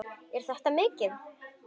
Er þetta mikið?